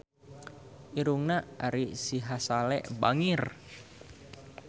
Irungna Ari Sihasale bangir